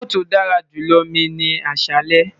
Akoko ti o dara julọ mi ni aṣalẹ